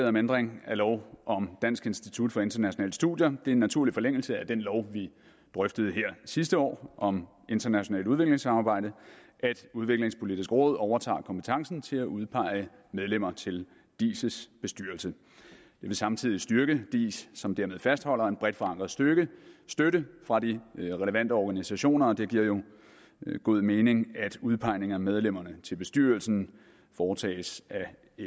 om ændring af lov om dansk institut for internationale studier det er en naturlig forlængelse af den lov vi drøftede sidste år om internationalt udviklingssamarbejde at udviklingspolitisk råd overtager kompetencen til at udpege medlemmer til diis bestyrelse det vil samtidig styrke diis som dermed fastholder en bredt forankret støtte støtte fra de relevante organisationer og det giver jo god mening at udpegningen af medlemmerne til bestyrelsen foretages af